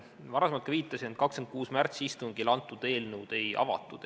Ma varem ka viitasin, et 26. märtsi istungil antud eelnõu ei avatud.